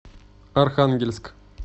архангельск